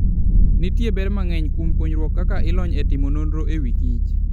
Nitie ber mang'eny kuom puonjruok kaka ilony e timo nonro e wi kich.